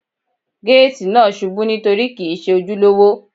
Géètì náà ṣubú nítorí kìí Ṣe ojúlówó.